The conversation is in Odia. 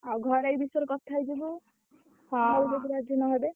ଆଉ ଘରେ ଏଇ ବିଷୟରେ କଥା ହେଇଯିବୁ। ଘରେ ଯଦି ରାଜି ନହେବେ।